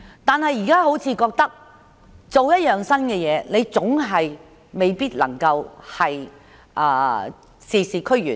但是，現在他們可能覺得每做一樣新事情總是未必能事事俱圓。